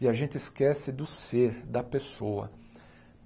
e a gente esquece do ser, da pessoa.